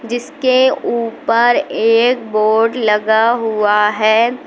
इसके ऊपर एक बोर्ड लगा हुआ है।